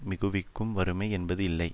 மிகுவிக்கும் வறுமை என்பது இல்லை